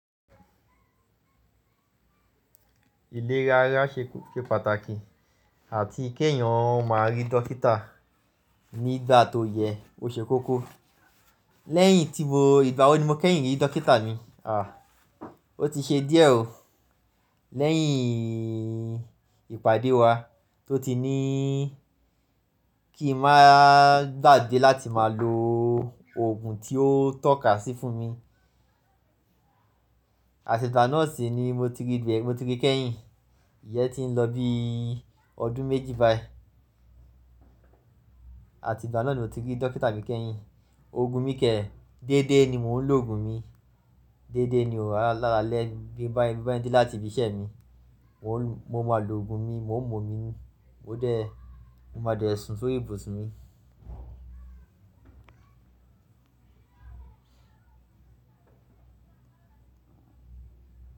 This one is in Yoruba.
Ilé rara ṣe pàtàkì àti kí ẹ̀yàn má rí dókítà nígbà tó yẹ ó ṣe kókó. Lẹ́yìn tí mo, ìgbà wọ ni mo kẹ́yìn rí dókítà mi? À, ó ti ṣe díẹ̀ o. Leyin ipade wa to ti ni ki n maa gbagbe lati maa lo ogun ti o toka si fun mi àti ìgbà náà sì ni mo ti rí, mo ti rí kẹ́yìn. Ìyẹ́n ti ń lọ bí ọdún méjì báyì. Àti ìgbà náà ni mo ti rí dókítà mi kẹ́yìn. Oògùn mi kẹ́, dédé ni mò ń lo òògùn mi. Dééde ni o, lálalẹ́ bí n bá ń de láti ibi iṣẹ́ mi, mo máa lo òògùn mi, mo ń mú ómi mi, mo máa dé sun sórí ìbùsùn mi.